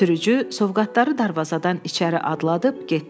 Sürücü sovqatları darvazadan içəri adladıb getdi.